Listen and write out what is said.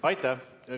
Aitäh!